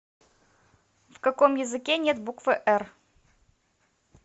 в каком языке нет буквы р